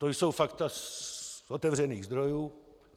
To jsou fakta z otevřených zdrojů.